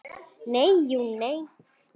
Nei, jú, nei.